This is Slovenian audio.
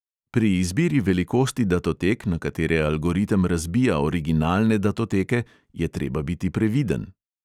Pri izbiri velikosti datotek, na katere algoritem razbija originalne datoteke, je treba biti previden.